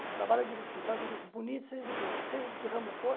Você trabalha direitinho, faz serviço bonito, seja de pintura, seja de que ramo for.